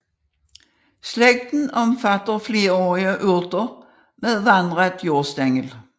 Slægten omfatter flerårige urter med vandret jordstængel